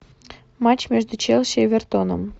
матч между челси и эвертоном